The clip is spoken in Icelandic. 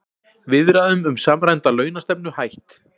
Viðræðum um samræmda launastefnu hætt